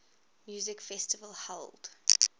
music festival held